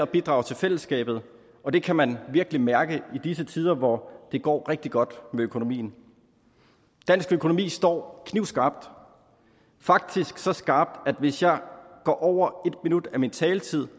og bidrager til fællesskabet og det kan man virkelig mærke i disse tider hvor det går rigtig godt med økonomien dansk økonomi står knivskarpt faktisk så skarpt at hvis jeg går over min taletid